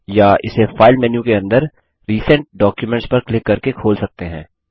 या इसे file menu के अंदर रिसेंट डॉक्यूमेंट्स पर क्लिक करके खोल सकते हैं